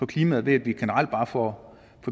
klimaet ved at vi generelt bare får